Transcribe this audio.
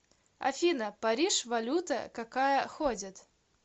афина париж валюта какая ходит